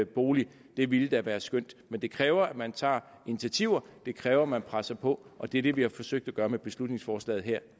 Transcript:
bolig det ville da være skønt men det kræver at man tager initiativer det kræver at man presser på og det er det vi har forsøgt at gøre med beslutningsforslaget her